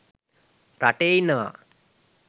රටේ ඉන්නවා.